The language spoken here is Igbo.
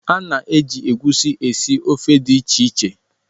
A na-eji egwusi esi ofe dị iche iche.